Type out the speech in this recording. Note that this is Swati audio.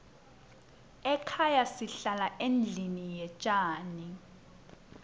ekhaya sihlala endlini yetjani